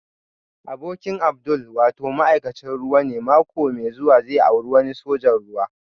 Abokin Abdul wato ma'aikacin ruwa ne mako mai zuwa zai auri wani sojan ruwa